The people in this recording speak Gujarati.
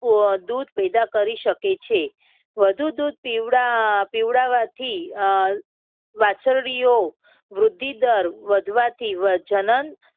અમ વધુ દૂધ પેદા કરી શકે છે. વધુ દૂધ પીવડા અમ પીવડાવવાથી અમ વાચરડીઓ વૃદ્ધિ દર વધવાથી જનન